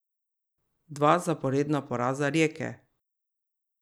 Dva zaporedna poraza Rijeke!